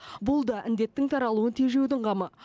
бұл да індеттің таралуын тежеудің қамы